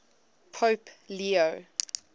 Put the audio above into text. pope leo